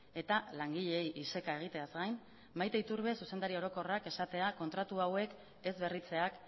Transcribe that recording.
eta langileei iseka egiteaz gain maite iturbe zuzendari orokorrak esatea kontratu hauek ez berritzeak